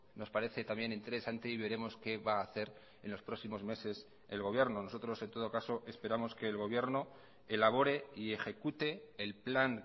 nos parece también interesante y veremos qué va a hacer en los próximos meses el gobierno nosotros en todo caso esperamos que el gobierno elabore y ejecute el plan